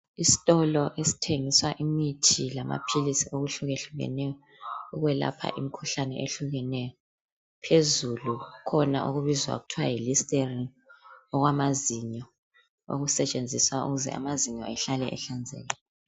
Isitolo esithengisa imithi lamaphilisi okuhlukehlukeneyo okwelapha imkhuhlane ehlukeneyo. Phezulu kukhona okubizwa kuthiwa yi listerine okwamazinyo okusetshenziswa ukuze amazinyo ehlale ehlanzekile.